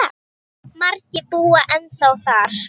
Margir búa ennþá þar.